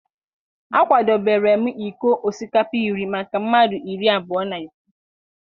a kwadebere m iko osikapa iri maka mmadụ iri abụọ na ise.